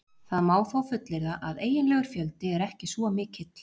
Það má þó fullyrða að eiginlegur fjöldi er ekki svo mikill.